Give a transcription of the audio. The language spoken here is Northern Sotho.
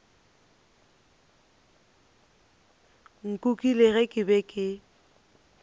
nkukile ge ke be ke